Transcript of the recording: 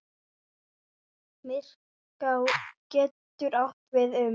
Myrká getur átt við um